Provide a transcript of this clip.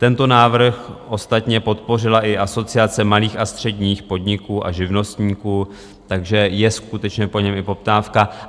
Tento návrh ostatně podpořila i Asociace malých a středních podniků a živnostníků, takže je skutečně po něm i poptávka.